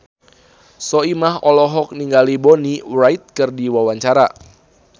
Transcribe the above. Soimah olohok ningali Bonnie Wright keur diwawancara